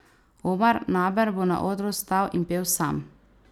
Omar Naber bo na odru stal in pel sam.